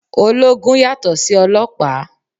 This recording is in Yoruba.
Ológun yàtò sí ọlọ́pàá.